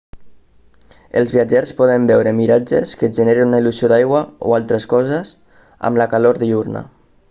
els viatgers poden veure miratges que generen una il·lusió d'aigua o altres coses amb la calor diürna